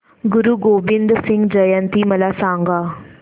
गुरु गोविंद सिंग जयंती मला सांगा